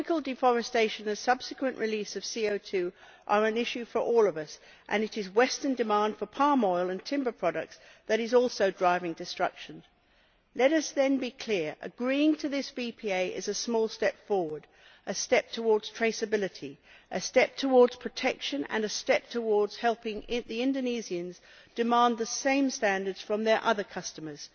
Tropical deforestation and subsequent release of CO 2 are issues for all of us and it is Western demand for palm oil and timber products that is also driving destruction. Let us then be clear agreeing to this VPA is a small step forward, a step towards traceability, a step towards protection and a step towards helping the Indonesians demand the same standards from their other customers.